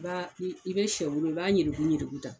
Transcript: I b'a i i be sɔ mugu i b'a ɲirikuɲiriku ta